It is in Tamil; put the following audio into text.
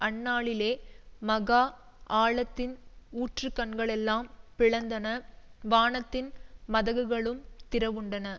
அந்நாளிலே மகா ஆழத்தின் ஊற்றுக்கண்களெல்லாம் பிளந்தன வானத்தின் மதகுகளும் திறவுண்டன